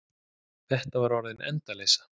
Þetta var orðin endaleysa.